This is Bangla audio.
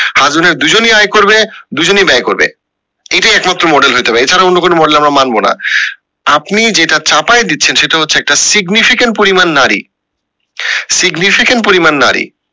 husband wife দুজনই আয় করবে দুজেনেই ব্যায় করবে এইটাও একমাত্র model হইতে পারে এছাড়া অন্য কোনো model আমরা মানব না আপনি যেটা চাপায় দিচ্ছেন সেটা হচ্ছে একটা significant পরিমান নারী significant পরিমান নারী